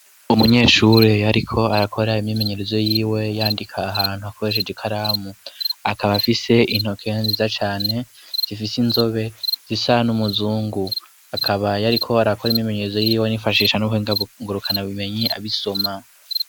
Umunyeshuri yariko arakora imyimenyerezo yiwe yandika ahantu akoresheje ikaramu; akaba afise intoke nziza cane zifise inzobe zisa n'umuzungu. Akaba yariko arakora imyimenyerezo yiwe yifashisha n'ubuhinga ngurukanabumenyi abisoma.